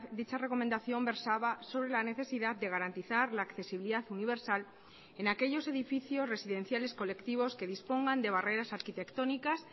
dicha recomendación versaba sobre la necesidad de garantizar la accesibilidad universal en aquellos edificios residenciales colectivos que dispongan de barreras arquitectónicas